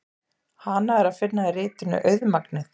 Hana er að finna í ritinu Auðmagnið.